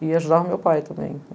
e ajudava o meu pai também.